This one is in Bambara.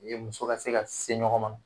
U ye muso ka se ka se ɲɔgɔn ma.